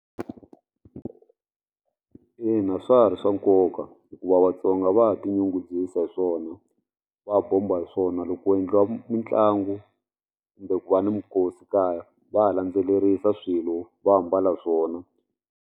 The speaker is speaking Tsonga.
Ina swa ha ri swa nkoka hikuva Vatsonga va tinyungubyisa hi swona va ha bomba hi swona loko ku endliwa mitlangu kumbe ku va ni minkosi kaya va landzelerisa swilo va ambala swona.